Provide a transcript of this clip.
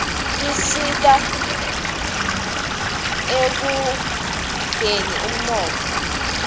tisita ekukhldeni uninotfo